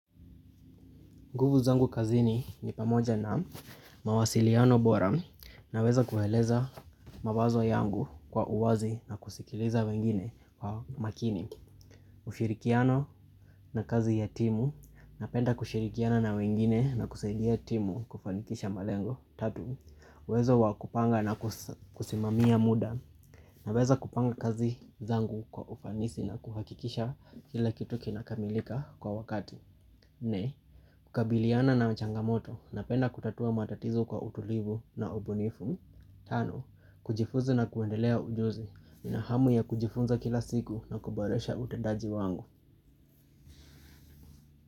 Nguvu zangu kazini ni pamoja na mawasiliano bora naweza kueleza mawazo yangu kwa uwazi na kusikiliza wengine kwa makini. Ushirikiano na kazi ya timu napenda kushirikiana na wengine na kusaidia timu kufanikisha malengo. Tatu, uwezo wa kupanga na kusimamia muda naweza kupanga kazi zangu kwa ufanisi na kuhakikisha kila kitu kinakamilika kwa wakati. Nne, kukabiliana na changamoto napenda kutatua matatizo kwa utulivu na ubunifu. Tano, kujifunza na kuendeleza ujuzi na hamu ya kujifunza kila siku na kuboresha utendaji wangu.